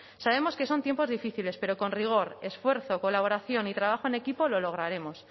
sabemos que son tiempos difíciles pero con rigor esfuerzo colaboración y trabajo en equipo lo lograremos